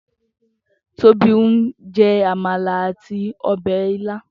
Tobi n jè ámàlá àtí òbè ilã